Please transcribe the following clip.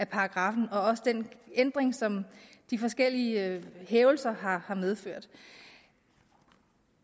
paragraffen og også den ændring som de forskellige hævelser har har medført